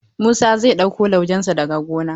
Musa zai ɗauko laujen sa daga gona.